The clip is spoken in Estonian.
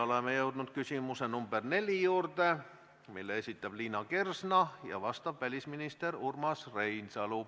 Oleme jõudnud küsimuse nr 4 juurde, mille esitab Liina Kersna ja millele vastab välisminister Urmas Reinsalu.